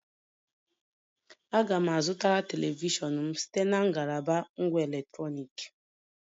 Aga m a zụtara telivishọn m site na ngalaba ngwá electronic